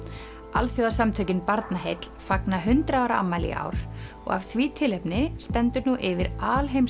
alþjóðasamtökin Barnaheill fagna eitt hundrað ára afmæli í ár og af því tilefni stendur nú yfir